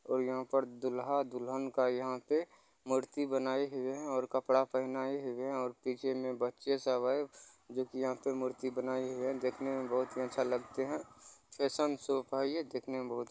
और यहां पे दूल्हा दुल्हन का यहां पे मूर्ति बनाए हुए है और कपड़ा पहनाए हुए है और पीछे मे बच्चे सब है जोकि यहां पे मूर्ति बनाई हुई है देखने मे बहोत ही अच्छा लगते है फेसन सो का है ये देखने मे बहोत --